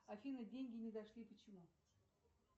афина деньги не дошли почему